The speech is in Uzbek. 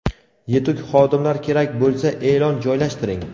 Yetuk xodimlar kerak bo‘lsa, eʼlon joylashtiring!.